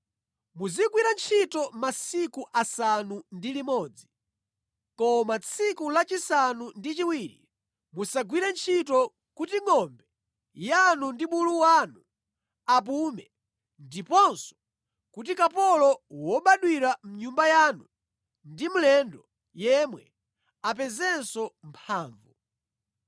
“Muzigwira ntchito masiku asanu ndi limodzi koma tsiku lachisanu ndi chiwiri musagwire ntchito kuti ngʼombe yanu ndi bulu wanu apume ndiponso kuti kapolo wobadwira mʼnyumba yanu ndi mlendo yemwe apezenso mphamvu.